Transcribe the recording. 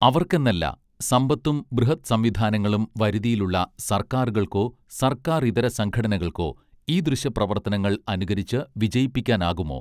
അവർക്കെന്നല്ല സമ്പത്തും ബൃഹദ് സംവിധാനങ്ങളും വരുതിയിലുള്ള സർക്കാറുകൾക്കോ സർക്കാറിതര സംഘടനകൾക്കോ ഈദൃശ പ്രവർത്തനങ്ങൾ അനുകരിച്ച് വിജയിപ്പിക്കാനാകുമോ